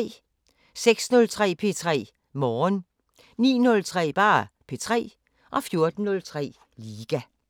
06:03: P3 Morgen 09:03: P3 14:03: Liga